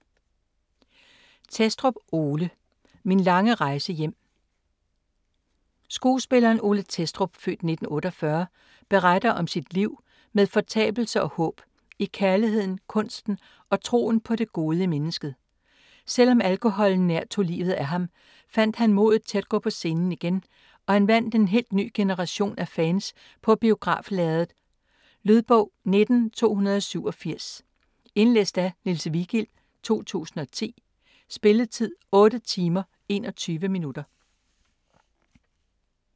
Thestrup, Ole: Min lange rejse hjem Skuespilleren Ole Thestrup (f. 1948) beretter om sit liv med fortabelse og håb - i kærligheden, kunsten og troen på det gode i mennesket. Selv om alkoholen nær tog livet af ham, fandt han modet til at gå på scenen igen, og han vandt en helt ny generation af fans på biograflærredet. Lydbog 19287 Indlæst af Niels Vigild, 2010. Spilletid: 8 timer, 21 minutter.